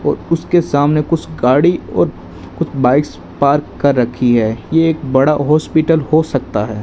और उसके सामने कुछ गाड़ी और कुछ बाइक्स पार्क कर रखी है ये एक बड़ा हॉस्पिटल हो सकता है।